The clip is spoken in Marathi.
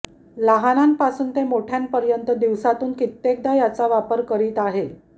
लहानांपासून ते मोठ्यांपर्यंत दिवसातून कित्येकदा याचा वापर करीत आहे